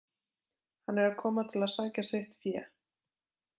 Hann er að koma til að sækja sitt fé.